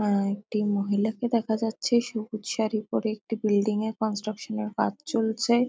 আআআ একটি মহিলাকে দেখা যাচ্ছে সবুজ শাড়ি পরে। একটি বিল্ডিং -এর কনস্ট্রাকশন -এর কাজ চলছে।